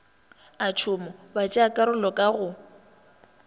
a tšhomo batšeakarolo ka go